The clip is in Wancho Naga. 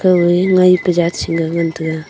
kawai ngai pa jaat chengan taiga